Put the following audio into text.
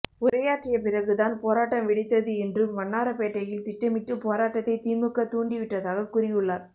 உரையாற்றிய பிறகு தான் போராட்டம் வெடித்தது என்றும் வண்ணாரப்பேட்டையில் திட்டமிட்டு போராட்டத்தை திமுக தூண்டி விட்டதாக கூறியுள்ளார்